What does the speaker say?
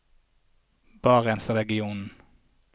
barentsregionen